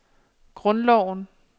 grundloven